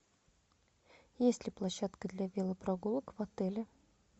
есть ли площадка для велопрогулок в отеле